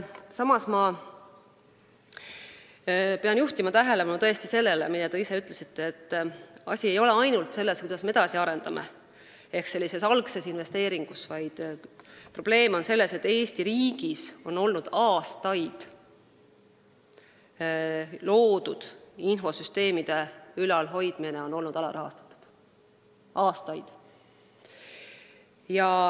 Samas, ma pean juhtima tähelepanu sellele, mida te ka ise ütlesite, et asi ei ole ainult selles, kuidas me IT-d edasi arendame ehk algses investeeringus, vaid probleem on selles, et Eesti riigis loodud infosüsteemide ülalhoidmine on aastaid olnud alarahastatud.